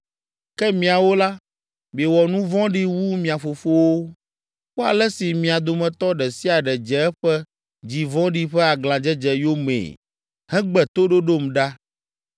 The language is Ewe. Ke miawo la, miewɔ nu vɔ̃ɖi wu mia fofowo. Kpɔ ale si mia dometɔ ɖe sia ɖe dze eƒe dzi vɔ̃ɖi ƒe aglãdzedze yomee hegbe toɖoɖom ɖa!